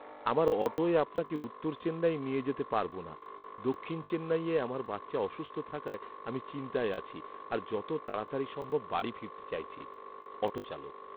আমার অটোয় আপনাকে উত্তর চেন্নাই নিয়ে যেতে পারবো না, দক্ষিণ চেন্নাইয়ে আমার বাচ্চা অসুস্থ থাকায় আমি চিন্তায় আছি আর যত তাড়াতাড়ি সম্ভব বাড়ি ফিরতে চাইছি। অটো চালক